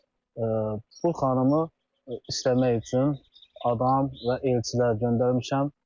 bu xanımı istəmək üçün adam və elçilər göndərmişəm.